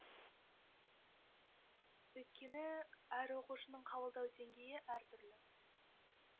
өйткені әр оқушының қабылдау деңгейі әр түрлі